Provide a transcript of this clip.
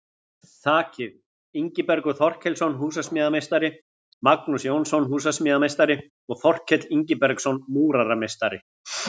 Þakið: Ingibergur Þorkelsson, húsasmíðameistari, Magnús Jónsson, húsasmíðameistari og Þorkell Ingibergsson, múrarameistari.